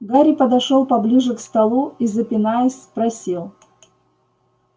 гарри подошёл поближе к столу и запинаясь спросил